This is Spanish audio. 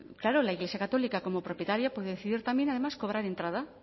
claro la iglesia católica como propietaria puede decidir también además cobrar entrada